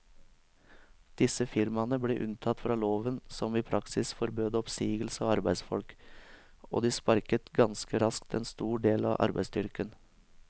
Disse firmaene ble unntatt fra loven som i praksis forbød oppsigelse av arbeidsfolk, og de sparket ganske raskt en stor del av arbeidsstyrken.